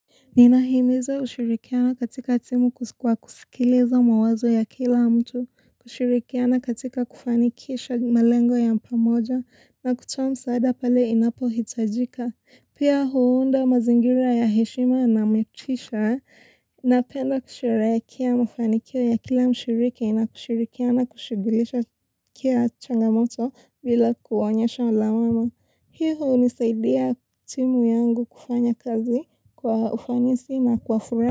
Ninahimiza ushirikiano katika timu kwa kusikiliza mawazo ya kila mtu, kushirikiana katika kufanikisha malengo ya pamoja na kutoa msaada pale inapohitajika. Pia huunda mazingira ya heshima na metisha, napenda kusherehekea mafanikio ya kila mshiriki na kushirikiana kushughulikia changamoto bila kuonyesha lawama. Hivyo hunisaidia timu yangu kufanya kazi kwa ufanisi na kwa furaha.